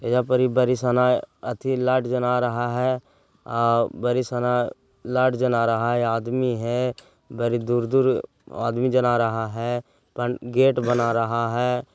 एजा पड़ी बड़ी साना अथि लाईट जना रहा है आऊ बड़ी साना लाइट जना रहा हैं आदमी हैं बड़ी दूर-दूर आदमी जना रहा हैं गेट बना रहा है।